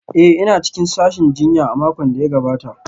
Ee, ina cikin sashin jinya a makon da ya gabata